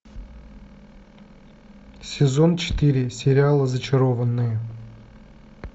сезон четыре сериала зачарованные